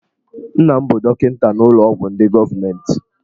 Nna m bụ dọkịta n'ụlọ ọgwụ ndị gọọmentị.